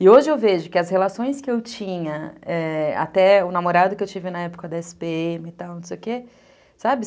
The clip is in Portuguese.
E hoje eu vejo que as relações que eu tinha, até o namorado que eu tive na época da esse pê eme e tal, não sei o quê, sabe?